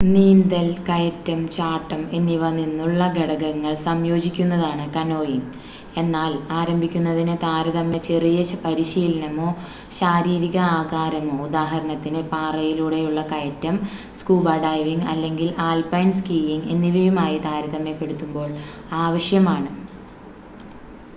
നീന്തൽ കയറ്റം ചാട്ടം എന്നിവ നിന്നുള്ള ഘടകങ്ങൾ സംയോജിക്കുന്നതാണ് കനോയിംഗ്--എന്നാൽ ആരംഭിക്കുന്നതിന് താരതമ്യേന ചെറിയ പരിശീലനമോ ശാരീരിക ആകാരമോ ഉദാഹരണത്തിന് പാറയിലൂടെയുള്ള കയറ്റം സ്കൂബ ഡൈവിംഗ് അല്ലെങ്കിൽ ആൽപൈൻ സ്കീയിംഗ് എന്നിവയുമായി താരതമ്യപ്പെടുത്തുമ്പോൾ ആവശ്യമാണ്